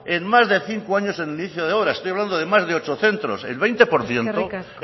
en más de cinco años en el inicio de obra estoy hablando de más de ocho centros el veinte por ciento